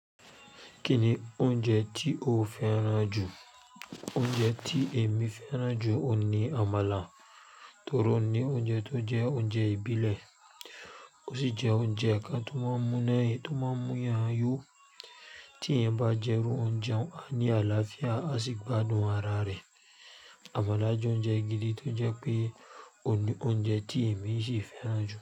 Kíni oúnjẹ tí o fẹ́ràn jù? Oúnjẹ tí èmi fẹ́ràn jù ni àmàlà torí ó ni oúnjẹ tó jẹ́ oúnjẹ ìbílẹ̀. Ó sì jẹ́ oúnjẹ kan tó máa ń múni, tó máa ń mú eyan yo tí ẹ̀yan bá jẹ́ irú oúnjẹ un a ni àlàáfíà, a sì gbádùn ara rẹ. Àmàlà jẹ́ oúnjẹ gidi tó jẹ́ pé, oun ni oúnjẹ tí èmi ṣi fẹ́ràn jù.